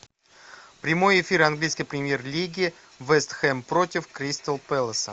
прямой эфир английской премьер лиги вест хэм против кристал пэласа